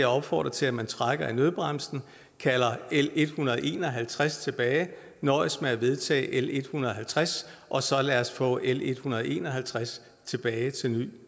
opfordre til at man trækker i nødbremsen kalder l en hundrede og en og halvtreds tilbage og nøjes med at vedtage l en hundrede og halvtreds og så lad os få l en hundrede og en og halvtreds tilbage til ny